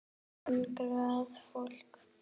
Hungrað fólk.